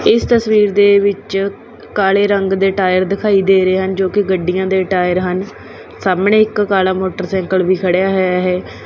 ਇੱਸ ਤਸਵੀਰ ਦੇ ਵਿੱਚ ਕਾਲੇ ਰੰਗ ਦੇ ਟਾਇਰ ਦਿਖਾਈ ਦੇ ਰਹੇ ਹਨ ਜੋ ਕੀ ਗੱਡੀਆਂ ਦੇ ਟਾਇਰ ਹਨ ਸਾਹਮਣੇ ਇੱਕ ਕਾਲਾ ਮੋਟਰਸਾਈਕਲ ਵੀ ਖੜਿਆ ਹੋਇਆ ਹੈ।